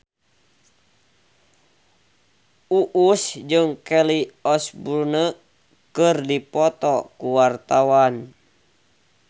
Uus jeung Kelly Osbourne keur dipoto ku wartawan